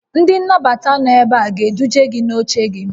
Ndị nnabata nọ ebe a ga-eduje gị n'oche gị